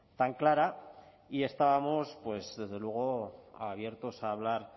tan clara y estábamos pues desde luego abiertos a hablar